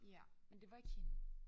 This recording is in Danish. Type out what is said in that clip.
Ja men det var ikke hende